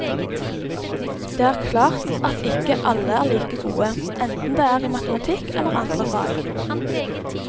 Det er klart at ikke alle er like gode, enten det er i matematikk eller andre fag.